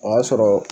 O y'a sɔrɔ